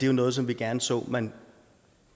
jo noget som vi gerne så man